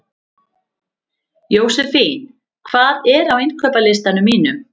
Jósefín, hvað er á innkaupalistanum mínum?